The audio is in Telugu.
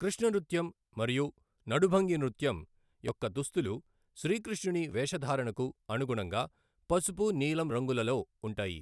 కృష్ణ నృత్యం మరియు నడుభంగి నృత్యం యొక్క దుస్తులు, శ్రీకృష్ణుని వేషధారణకు అనుగుణంగా పసుపు, నీలం రంగులలో ఉంటాయి.